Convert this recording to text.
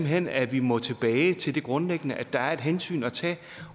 hen at vi må tilbage til det grundlæggende at der er et hensyn at tage